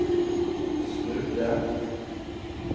snudde